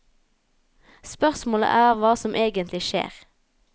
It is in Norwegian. Spørsmålet er hva som egentlig skjer.